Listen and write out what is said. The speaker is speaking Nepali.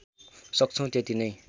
सक्छौँ त्यति नैँ